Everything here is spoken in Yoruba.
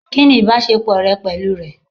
Kìnì ìbásepọ̀ rẹ pẹ̀lú rẹ̀?